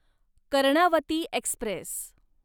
Karnavati Express